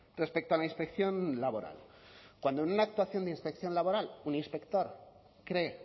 respecto a la inspección laboral cuando en una actuación de inspección laboral un inspector cree